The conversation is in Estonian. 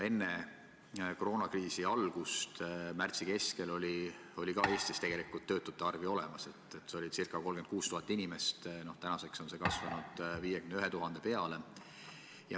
Enne koroonakriisi algust, märtsi keskel olid ka Eestis töötud ju olemas, ca 36 000 inimest, tänaseks on see arv kasvanud 51 000 peale.